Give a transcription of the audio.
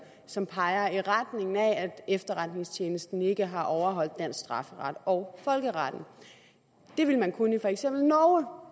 som peger i retning af at efterretningstjenesten ikke har overholdt dansk strafferet og folkeretten det ville man kunne i for eksempel norge